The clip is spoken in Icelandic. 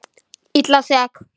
Illa sek.